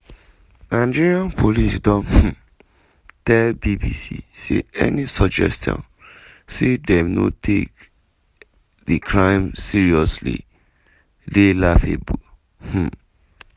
nigerian police don um tell bbc say any suggestion say dem no take di crimes seriously dey "laughable". um